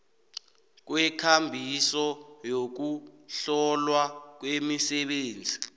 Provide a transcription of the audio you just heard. kwekambiso yokuhlolwa kwemisebenzi